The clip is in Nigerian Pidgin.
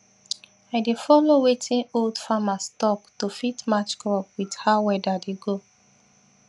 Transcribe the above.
i dey follow wetin old farmers talk to fit match crop with how weather dey go